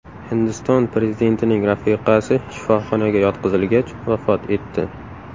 Hindiston prezidentining rafiqasi shifoxonaga yotqizilgach, vafot etdi.